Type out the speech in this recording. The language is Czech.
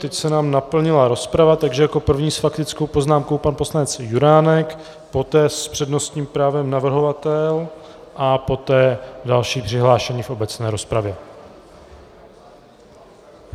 Teď se nám naplnila rozprava, takže jako první s faktickou poznámkou pan poslanec Juránek, poté s přednostním právem navrhovatel a poté další přihlášení v obecné rozpravě.